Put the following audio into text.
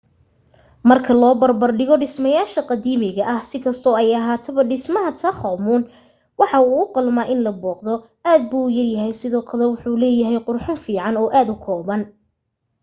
marka loo barbar dhigo dhismayaasha qadiimiga ah si kastoo ay ahaataba dhismaha tutankhamun wuu u qalmaa in la booqdo aad buu u yaryahay sidoo kale wuxuu leeyaha qurxin fiican oo kooban